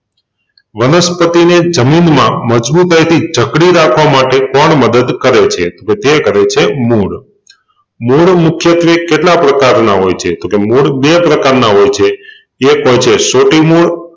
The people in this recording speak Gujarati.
વનસ્પતિને જમીનમાં મજબુતાઈથી જકડી રાખવા માટે પણ મદદ કરે છે તો તે કરે છે મૂળ. મૂળ મુખ્યત્વે કેટલા પ્રકારના હોય છે તોકે મૂળ બે પ્રકારના હોય છે એક હોય છે સોટી મૂળ